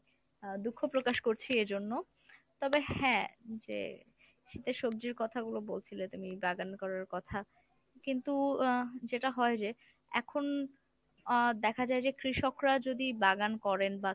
আহ দুঃখ প্রকাশ করছি এর জন্য। তবে হ্যাঁ যে শীতের সবজির কথাগুলো বলছিলে যে, মানি বাগান করার কথা কিন্তু আহ যেটা হয় যে এখন আহ দেখা যায় যে কৃষকরা যদি বাগান করেন বা